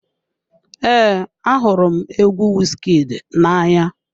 Ee, ahụrụ m egwu Wizkid na-anya.